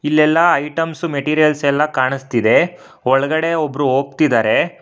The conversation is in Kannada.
ಇಲ್ಲೆಲ್ಲ ಐಟಮ್ಸ್ ಮೇಟಿರಿಯಲ್ಸ್ ಎಲ್ಲಾ ಕಾಣಿಸ್ತಿದೆ ಒಳಗಡೆ ಒಬ್ರು ಹೋಗ್ತಿದಾರೆ.